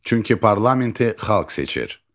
Çünki parlamenti xalq seçir.